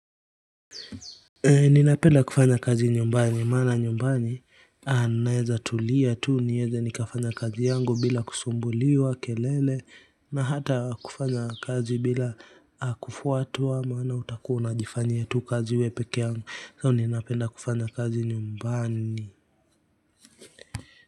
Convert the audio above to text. Ninapenda kufanya kazi nyumbani maana nyumbani naeza tulia tu nieze nikafanya kazi yangu bila kusumbuliwa kelele na hata kufanya kazi bila kufuatwa maana utakuwa unajifanyia tu kazi wewe peke yangu so ninapenda kufanya kazi nyumbani.